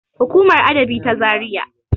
hukumar dab`i ta zariya